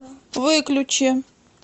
выключи